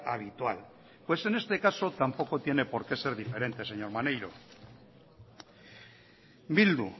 habitual pues en este caso tampoco tiene por qué ser diferente señor maneiro bildu